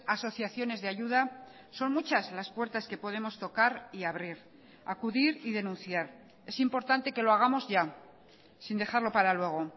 asociaciones de ayuda son muchas las puertas que podemos tocar y abrir acudir y denunciar es importante que lo hagamos ya sin dejarlo para luego